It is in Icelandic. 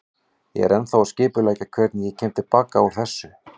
Ég er ennþá að skipuleggja hvernig ég kem til baka út úr þessu.